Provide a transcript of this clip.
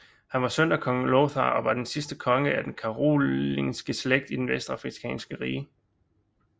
Han var søn af Kong Lothar og var den sidste konge af den karolingiske slægt i Det Vestfrankiske Rige